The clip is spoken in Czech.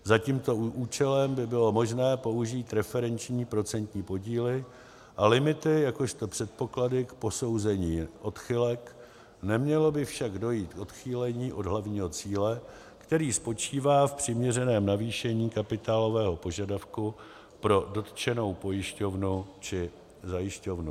Za tímto účelem by bylo možné použít referenční procentní podíly a limity jakožto předpoklady k posouzení odchylek, nemělo by však dojít k odchýlení od hlavního cíle, který spočívá v přiměřeném navýšení kapitálového požadavku pro dotčenou pojišťovnu či zajišťovnu.